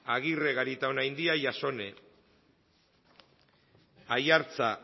agirre garitaonaindia jasone aiartza